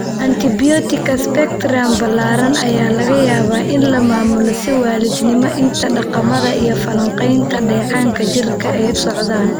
Antibiyootikada spectrum ballaaran ayaa laga yaabaa in la maamulo si waalidnimo inta dhaqamada iyo falanqaynta dheecaanka jirka ay socdaan.